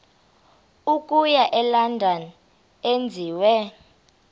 okuya elondon enziwe